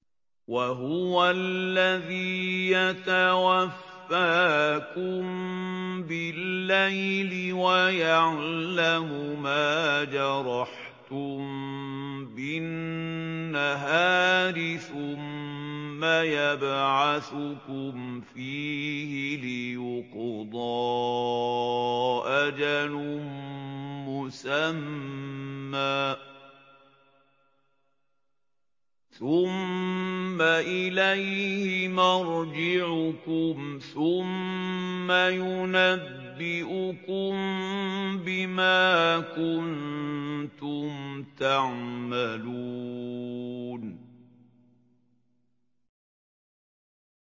وَهُوَ الَّذِي يَتَوَفَّاكُم بِاللَّيْلِ وَيَعْلَمُ مَا جَرَحْتُم بِالنَّهَارِ ثُمَّ يَبْعَثُكُمْ فِيهِ لِيُقْضَىٰ أَجَلٌ مُّسَمًّى ۖ ثُمَّ إِلَيْهِ مَرْجِعُكُمْ ثُمَّ يُنَبِّئُكُم بِمَا كُنتُمْ تَعْمَلُونَ